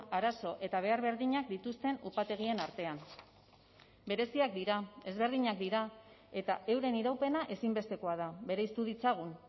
arazo eta behar berdinak dituzten upategien artean bereziak dira ezberdinak dira eta euren iraupena ezinbestekoa da bereiztu ditzagun